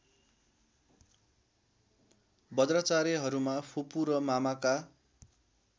बज्राचार्यहरूमा फुपू र मामाका